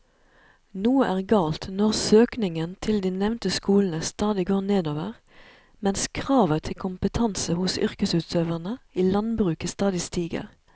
Noe er galt når søkningen til de nevnte skolene stadig går nedover mens kravet til kompetanse hos yrkesutøverne i landbruket stadig stiger.